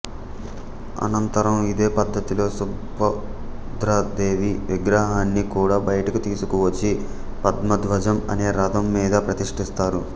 అనంతరం ఇదే పద్ధతిలో సుభద్రాదేవి విగ్రహాన్ని కూడా బయటికి తీసుకువచ్చి పద్మధ్వజం అనే రథం మీద ప్రతిష్ఠిస్తారు